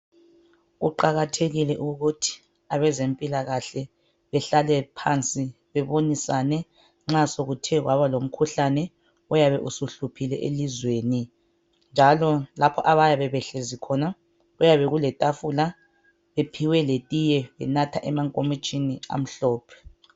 Kuqakathekile ukuthi abezempilakahle behlale phansi bebonisane nxa sokuthe kwaba lomkhuhlane oyabe usuhluphile elizweni. Njalo lapho abayabe behlezi khona kuyabe kuletafula bephiwe letiye benatha emankomitshini amhlophe.